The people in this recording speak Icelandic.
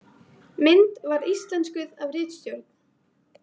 Mynd var íslenskuð af Ritstjórn.